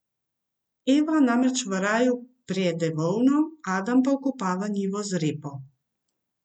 Eva namreč v raju prede volno, Adam pa okopava njivo z repo.